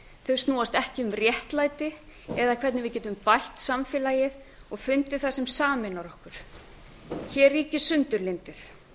þau snúast ekki um réttlæti eða hvernig við getum bætt samfélagið og fundið það sem sameinar okkur hér ríkir sundurlyndið